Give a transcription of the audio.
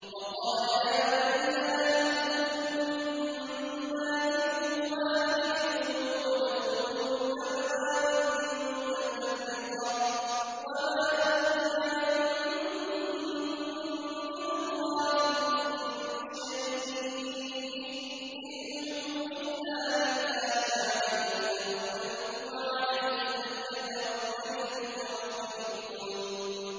وَقَالَ يَا بَنِيَّ لَا تَدْخُلُوا مِن بَابٍ وَاحِدٍ وَادْخُلُوا مِنْ أَبْوَابٍ مُّتَفَرِّقَةٍ ۖ وَمَا أُغْنِي عَنكُم مِّنَ اللَّهِ مِن شَيْءٍ ۖ إِنِ الْحُكْمُ إِلَّا لِلَّهِ ۖ عَلَيْهِ تَوَكَّلْتُ ۖ وَعَلَيْهِ فَلْيَتَوَكَّلِ الْمُتَوَكِّلُونَ